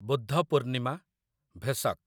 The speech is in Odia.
ବୁଦ୍ଧ ପୂର୍ଣ୍ଣିମା , ଭେସକ୍